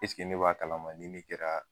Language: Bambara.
ne b'a kalama ni ne kɛra